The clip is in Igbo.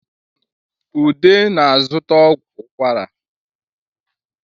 Ude na-zụta ọgwụ ukwara